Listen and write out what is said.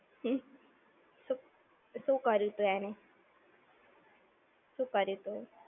હમ્મ. શું કર્યુંતું એણે? શું કર્યુંતું?